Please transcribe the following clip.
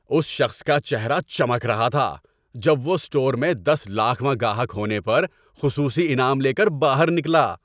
اس شخص کا چہرہ چمک رہا تھا جب وہ اسٹور میں دس لاکھ واں گاہک ہونے پر خصوصی انعام لے کر باہر نکلا۔